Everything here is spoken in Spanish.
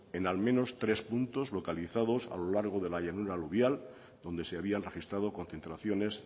en al menos tres puntos localizados a lo largo de la llanura aluvial donde se habían registrado concentraciones